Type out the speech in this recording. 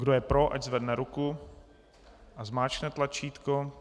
Kdo je pro, ať zvedne ruku a zmáčkne tlačítko.